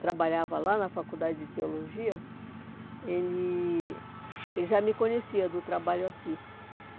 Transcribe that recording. trabalhava lá na Faculdade de Teologia, ele ele já me conhecia do trabalho aqui.